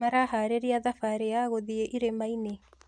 Maraharĩria thabarĩ ya gũthĩi irĩmainĩ?